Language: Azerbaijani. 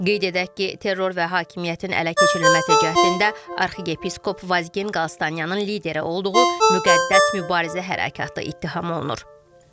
Qeyd edək ki, terror və hakimiyyətin ələ keçirilməsi cəhdində arxiyepiskop Vazgen Qalstanyanın lideri olduğu müqəddəs mübarizə hərəkatı ittiham olunur.